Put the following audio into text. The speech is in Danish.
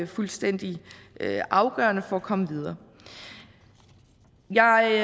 fuldstændig afgørende for at komme videre jeg